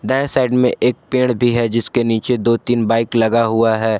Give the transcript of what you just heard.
दाएं साइड में एक पेड़ भी है जिसके नीचे दो तीन बाइक लगा हुआ है।